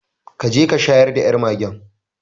Ka je ka shayar da yar magen